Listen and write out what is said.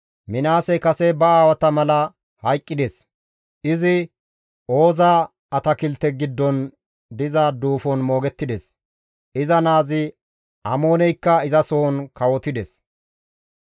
Minaasey kase ba aawata mala hayqqides; izi Ooza atakilte giddon diza duufon moogettides; iza naazi Amooneykka izasohon kawotides.